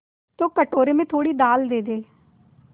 तो कटोरे में थोड़ी दाल दे दे